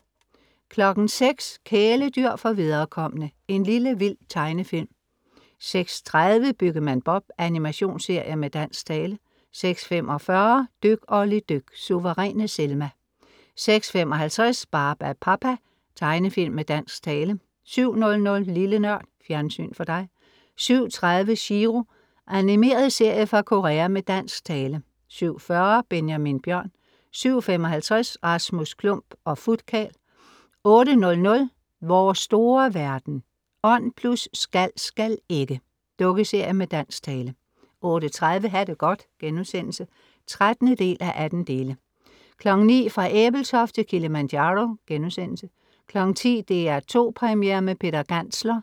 06:00 Kæledyr for viderekomne. En lille vild tegnefilm 06:30 Byggemand Bob. Animationsserie med dansk tale 06:45 Dyk Olli dyk. Suveræne Selma 06:55 Barbapapa.Tegnefilm med dansk tale 07:00 Lille NØRD. Fjernsyn for dig 07:30 Chiro. Animeret serie fra Korea med dansk tale 07:40 Benjamin Bjørn 07:55 Rasmus Klump og Futkarl 08:00 Vores store verden. Ånd + Skal, skal ikke. Dukkeserie med dansk tale 08:30 Ha' det godt* (13:18) 09:00 Fra Ebeltoft til Kilimanjaro* 10:00 DR2 Premiere med Peter Gantzler*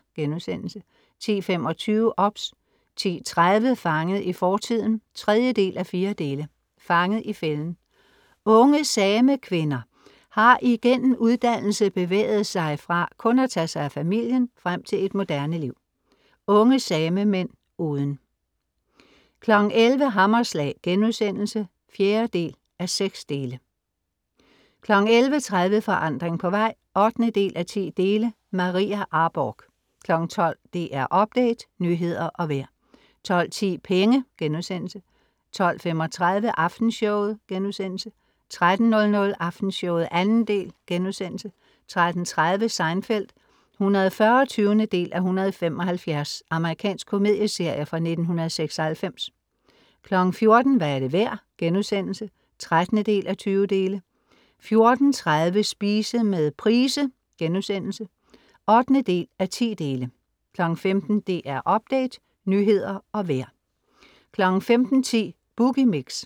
10:25 OBS 10:30 Fanget i fortiden (3:4) Fanget i fælden. Unge samekvinder har igennem uddannelse bevæget sig fra kun at tage sig af familien frem til et moderne liv. Unge samemænd uden 11:00 Hammerslag* (4:6) 11:30 Forandring på vej (8:10) Maria Arborgh 12:00 DR Update, nyheder og vejr 12:10 Penge* 12:35 Aftenshowet* 13:00 Aftenshowet 2. del* 13:30 Seinfeld (140:175) Amerikansk komedieserie fra 1996 14:00 Hvad er det værd?* (13:20) 14:30 Spise med Price* (8:10) 15:00 DR Update, nyheder og vejr 15:10 Boogie Mix